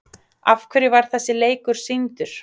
Af hverju var þessi leikur sýndur?